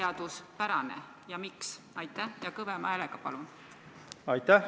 Kas nüüd hakkab olema nii, et Riigikogu esimees saadab Riigi Teatajasse kirja ja ütleb, et vabandust, meil läks siin üks asi natuke viltu?